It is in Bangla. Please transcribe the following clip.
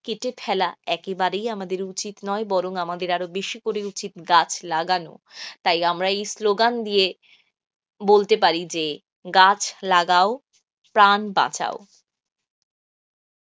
কেটে ফেলা একেবারেই আমাদের উচিত নয় বরং আমাদের আরও বেশি করে উচিত গাছ লাগানো. তাই আমরা এই স্লোগান দিয়ে বলতে পারি যে গাছ লাগাও প্রাণ বাঁচাও.